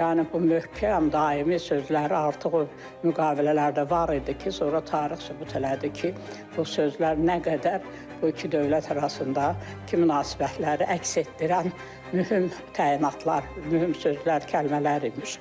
yəni bu möhkəm daimi sözləri artıq müqavilələrdə var idi ki, sonra tarix sübut elədi ki, bu sözlər nə qədər bu iki dövlət arasında ki, münasibətləri əks etdirən mühüm təyinatlar, mühüm sözlər, kəlmələr imiş.